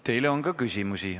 Teile on ka küsimusi.